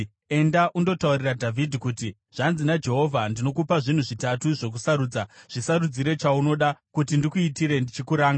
“Enda undotaurira Dhavhidhi kuti, ‘Zvanzi naJehovha: Ndinokupa zvinhu zvitatu zvokusarudza. Zvisarudzire chaunoda kuti ndikuitire ndichikuranga.’ ”